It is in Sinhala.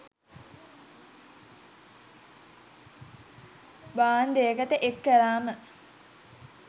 බාන්ඩයකට එක් කලාම